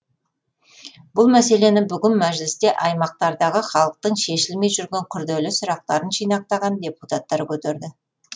бұл мәселені бүгін мәжілісте аймақтардағы халықтың шешілмей жүрген күрделі сұрақтарын жинақтаған депутаттар көтерді